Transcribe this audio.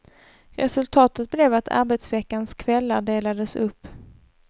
Resultatet blev att arbetsveckans kvällar delades upp.